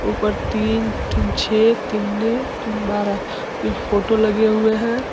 ऊपर तीन-तीन छह तीन तीन बारह ये फोटो लगे हुए हैं।